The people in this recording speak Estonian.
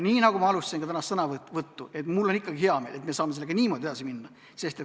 Nagu ma alustasin ka tänast sõnavõttu, on mul ikkagi hea meel, et me saame sellega niimoodi edasi minna.